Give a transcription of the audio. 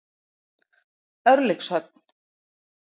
Örlygshöfn